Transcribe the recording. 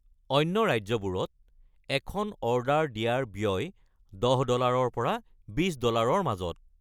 অন্য ৰাজ্যবোৰত, এখন অৰ্ডাৰ দিয়াৰ ব্য়য় ১০ ডলাৰৰ পৰা ২০ ডলাৰৰ মাজত।